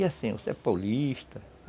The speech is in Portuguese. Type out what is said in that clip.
E assim, você é paulista.